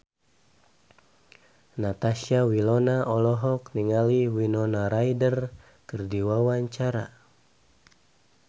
Natasha Wilona olohok ningali Winona Ryder keur diwawancara